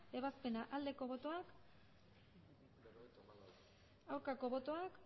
ebazpena aldeko botoak aurkako botoak